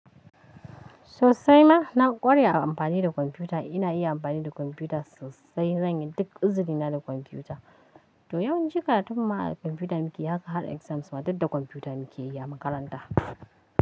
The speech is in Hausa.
Sosai ma na ƙwarai ina amfani da kwamfuta. Ina iya amfani da kwamfuta sosai. Zanyi duk izurina da kwamfuta. To yau jika, tukunma a kwamfuta muke haka har exams ma duk da kwamfuta muke yi a makaranta.